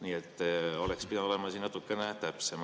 Nii et oleks pidanud olema natukene täpsem.